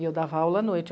E eu dava aula à noite.